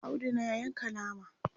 Audu na Yanka nama